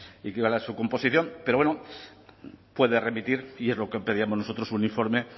y composición pero bueno puede remitir y es lo que pedíamos nosotros un informe